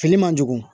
Fini man jugu